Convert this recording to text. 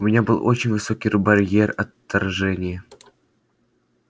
у меня был очень высокий барьер отторжения